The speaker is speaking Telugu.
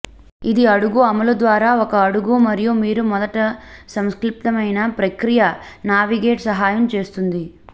ఇది అడుగు అమలు ద్వారా ఒక అడుగు మరియు మీరు మొదటి సంక్లిష్టమైన ప్రక్రియ నావిగేట్ సహాయం చేస్తుంది